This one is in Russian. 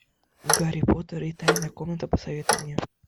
гарри поттер и тайная комната посоветуй мне